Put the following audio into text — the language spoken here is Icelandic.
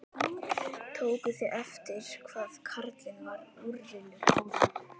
Tókuð þið eftir hvað karlinn var úrillur áðan?